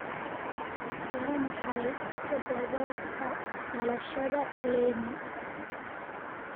Waa maxay todobaadka dhalashada lenny?